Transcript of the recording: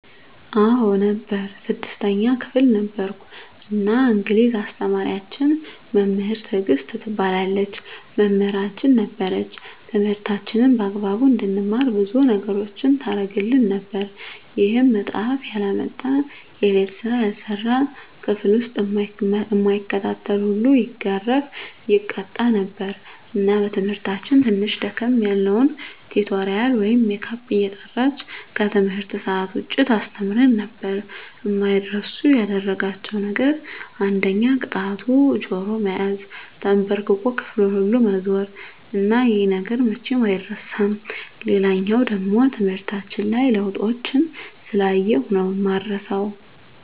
አዎ ነበር 6ተኛ ክፍል ነበርኩ እና እንግሊዝ አስተማሪያችን መምህር ትግስት ትባላለች መምህራችን ነበረች ትምህርታችንን በአግባቡ እንድንማር ብዙ ነገሮችን ታረግልን ነበር ይሄም መፃሐፍ ያላመጣ፣ የቤት ስራ ያልሰራ፣ ክፍል ዉስጥ እማይከታተል ሁሉ ይገረፍ( ይቀጣ ) ነበር እና በትምህርታችን ትንሽ ደከም ያልነዉን ቲቶሪያል ወይም ሜካፕ እየጠራች ከትምህርት ሰአት ዉጭ ታስተምረን ነበር። አማይረሱ ያደረጋቸዉ ነገር አንደኛ ቅጣቱ ጆሮ መያዝ፣ ተንበርክኮ ክፍሉን ሁሉ መዞር እና ይሄ ነገር መቼም አይረሳም። ሌላኛዉ ደሞ ትምህርታችን ላይ ለዉጦችን ስላየሁ ነዉ እማረሳዉ።